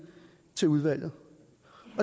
til udvalget